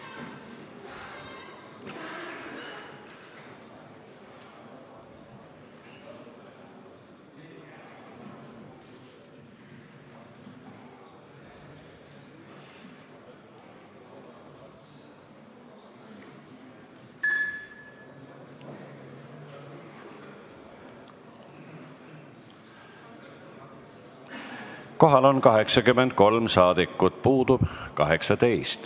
Kohaloleku kontroll Kohal on 83 rahvasaadikut, puudub 18.